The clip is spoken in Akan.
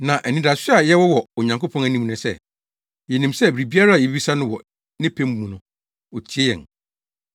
Na anidaso a yɛwɔ wɔ Onyankopɔn anim ne sɛ, yenim sɛ biribiara a yebisa no wɔ ne pɛ mu no, otie yɛn.